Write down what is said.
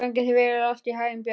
Gangi þér allt í haginn, Björg.